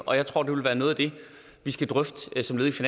og jeg tror det vil være noget af det vi skal drøfte som led